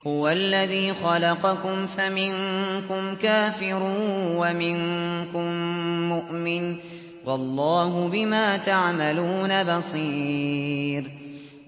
هُوَ الَّذِي خَلَقَكُمْ فَمِنكُمْ كَافِرٌ وَمِنكُم مُّؤْمِنٌ ۚ وَاللَّهُ بِمَا تَعْمَلُونَ بَصِيرٌ